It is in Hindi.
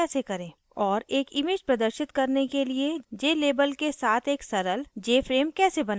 और एक image प्रदर्शित करने के लिए jlabel के साथ एक सरल jframe कैसे बनाएँ